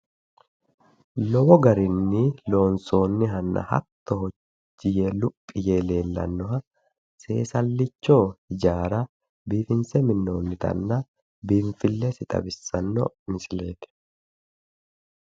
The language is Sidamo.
Lowo garinni loonsoonnihanna hattono gotti yee luphi yee leellannoha seesallicho ijaara biifinse minnoonnitanna biinfillesi xawissanno misileeti